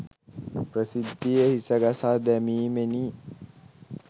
ප්‍රසිද්ධියේ හිස ගසා දැමීමෙනි.